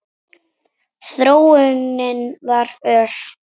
Þróunin var ör.